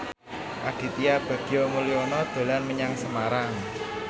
Aditya Bagja Mulyana dolan menyang Semarang